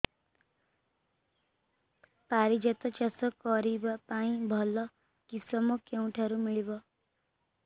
ପାରିଜାତ ଚାଷ କରିବା ପାଇଁ ଭଲ କିଶମ କେଉଁଠାରୁ ମିଳିବ